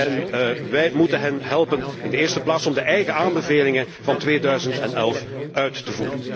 En wij moeten hen helpen, in de eerste plaats om de eigen aanbevelingen van 2011 uit te voeren.